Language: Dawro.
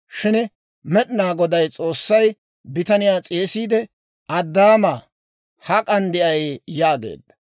Shin Med'inaa Goday S'oossay bitaniyaa s'eesiide, «Addaamaa, hak'an de'ay?» yaageedda.